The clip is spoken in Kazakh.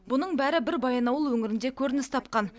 бұның бәрі бір баянауыл өңірінде көрініс тапқан